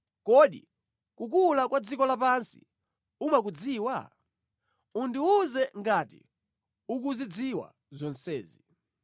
Kodi kukula kwa dziko lapansi umakudziwa? Undiwuze ngati ukuzidziwa zonsezi.